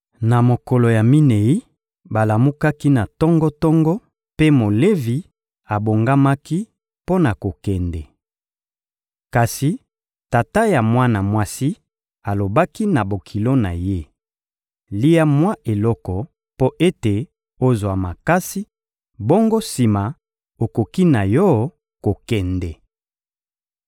Na mokolo ya minei, balamukaki na tongo-tongo, mpe Molevi abongamaki mpo na kokende. Kasi tata ya mwana mwasi alobaki na bokilo na ye: «Lia mwa eloko mpo ete ozwa makasi; bongo sima, okoki na yo kokende.»